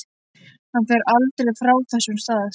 Hann fer aldrei frá þessum stað.